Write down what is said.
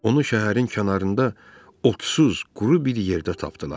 Onu şəhərin kənarında, otsuz, quru bir yerdə tapdılar.